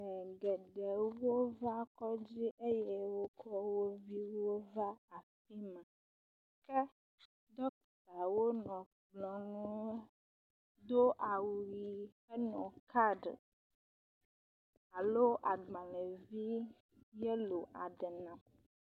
Ame geewo wova kɔdzi eye wokɔ wo viwo hã va afi ma ke dɔktawo nɔ kplɔ nu do awu ʋi henɔ kaɖi alo agbalevi yelo aɖe nam.